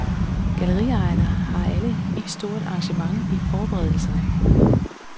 Galleriejerne har alle vist stort engagement i forberedelserne.